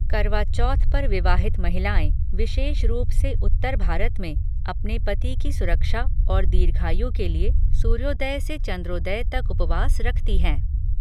करवा चौथ पर विवाहित महिलाएँ, विशेष रूप से उत्तर भारत में, अपने पति की सुरक्षा और दीर्घायु के लिए सूर्योदय से चंद्रोदय तक उपवास रखती हैं।